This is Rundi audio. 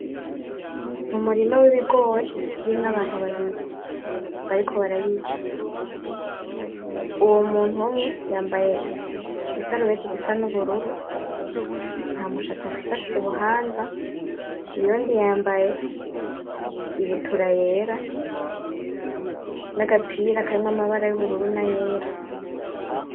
Mu murima w'ibigori urimwo abantu babiri bariko barabica ,uwo muntu umwe yambaye igisarubeti gisa n'ubururu ntamushatsi afise , afise ubuhanza uyundi yambaye ibutura yera, n'agapira karimwo amabara y'ubururu nayera.